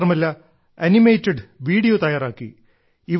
മാത്രമല്ല animated video തയ്യാറാക്കി